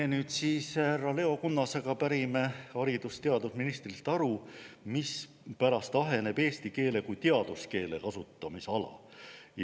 Me nüüd härra Leo Kunnasega pärime haridus- ja teadusministrilt aru, mispärast aheneb eesti keele kui teaduskeele kasutamisala.